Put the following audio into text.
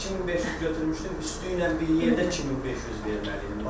2500 götürmüşdüm, üstü ilə bir yerdə 2500 verməliydim.